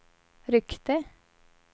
ryckte